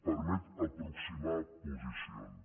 permet aproximar posicions